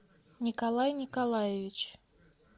николай николаевич